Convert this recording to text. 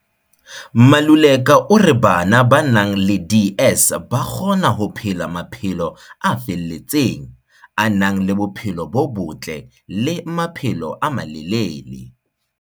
Maluleka o re bana ba nang le DS ba kgona ho phela maphelo a felletseng, a nang le bophelo bo botle le maphelo a malele.